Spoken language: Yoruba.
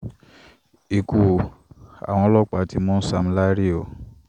ikú àwọn ọlọ́pàá ti mú sam larry o